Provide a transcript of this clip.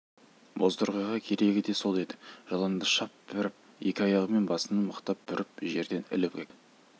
бозторғайға керегі де сол еді жыланды шап беріп екі аяғымен басынан мықтап бүріп жерден іліп әкетті